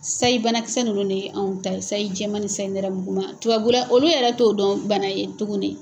Sayi banakisɛ ninnu ne ye anw ta ye sayi jɛma ni sayi nɛrɛmugu ma tubabula olu yɛrɛ t'o dɔn bana ye tuguni.